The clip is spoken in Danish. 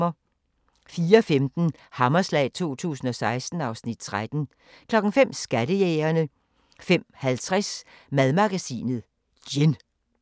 04:15: Hammerslag 2016 (Afs. 13) 05:00: Skattejægerne 05:50: Madmagasinet: Gin